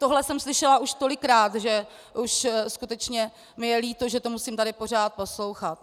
Tohle jsem slyšela už tolikrát, že už skutečně mi je líto, že to musím tady pořád poslouchat.